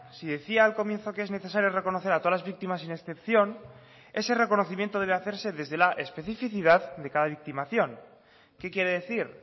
si decía al comienzo que es necesario reconocer a todas las víctimas sin excepción ese reconocimiento debe hacerse desde la especificidad de cada victimación qué quiere decir